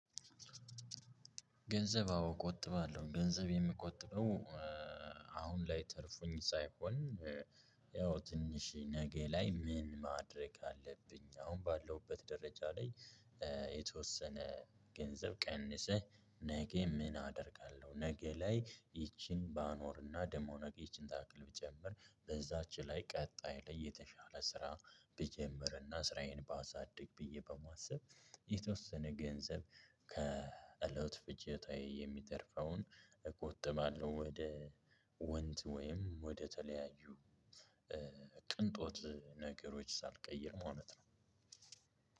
ገንዘብ አዎ ቆጥባለሁ። ገንዘብ የምቆጥበው ላይ ተርፎኝ ሳይሆን፥ ያው ትንሽ ነገ ላይ ምን ማድረግ አለብኝ? አሁን ባለውበት ደረጃ ላይ የተወሰነ ገንዘብ ቀንሰህ ነገ ምን አደርጋለሁ ነገ ላይ ይቺን ባኖርና ደሞ ነገ ይህቺን ታክል ብጨምር በዛች ላይ ቀጣይ ላይ የተሻለ ስራ ብጀምርና ስራዬን ባሳድግ ብዬ በማሰብ የተወሰነ ገንዘብ ከእለት ፍጆታዬ የሚተርፈውን እቆጥባለሁ። ወደ ወንድ ወይም ወደተለያዩ ቅንጦት ነገሮች ሳልቀይር ማለት ነው።